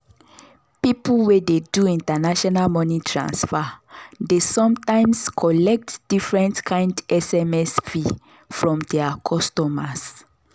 people wey dey do international money transfer dey sometimes collect different kind sms fee from their customers.